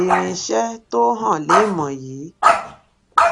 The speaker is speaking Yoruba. irinṣẹ tó hàn léèmọ yìí